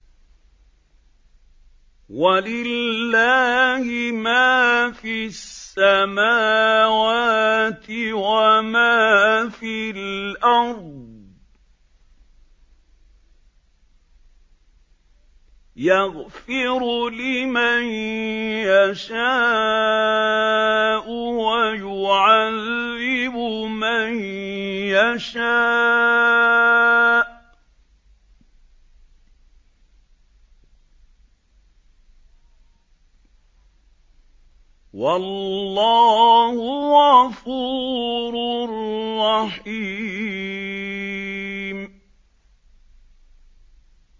وَلِلَّهِ مَا فِي السَّمَاوَاتِ وَمَا فِي الْأَرْضِ ۚ يَغْفِرُ لِمَن يَشَاءُ وَيُعَذِّبُ مَن يَشَاءُ ۚ وَاللَّهُ غَفُورٌ رَّحِيمٌ